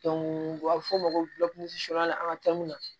u bɛ fɔ o ma ko an ka taa mun na